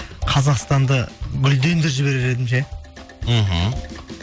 қазақстанды гүлдендіріп жіберер едім ше мхм